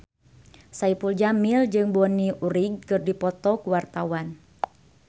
Saipul Jamil jeung Bonnie Wright keur dipoto ku wartawan